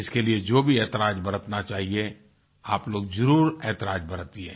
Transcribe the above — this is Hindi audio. इसके लिए जो भी ऐतराजएहतियात बरतना चाहिए आप लोग ज़रूर ऐतराजएहतियात बरतिये